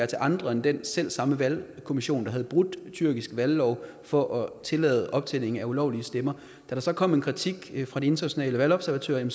til andre end den selvsamme valgkommission der havde brudt tyrkisk valglov for at tillade optælling af ulovlige stemmer da der så kom en kritik fra de internationale valgobservatører